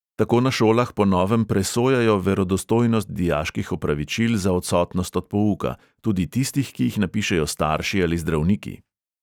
Tako na šolah po novem presojajo verodostojnost dijaških opravičil za odsotnost od pouka, tudi tistih, ki jih napišejo starši ali zdravniki.